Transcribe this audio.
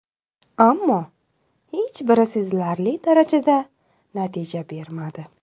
Ammo, hech biri sezilarli darajada natija bermadi.